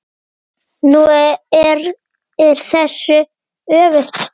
Nú er þessu öfugt farið.